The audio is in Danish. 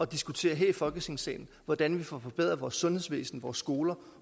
diskutere her i folketingssalen hvordan vi får forbedret vores sundhedsvæsen vores skoler